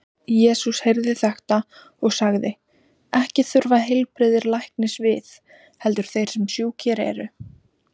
Jesús heyrði þetta og sagði: Ekki þurfa heilbrigðir læknis við, heldur þeir sem sjúkir eru.